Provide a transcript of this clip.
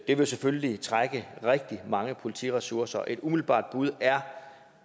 ville selvfølgelig trække på rigtig mange politiressourcer et umiddelbart bud er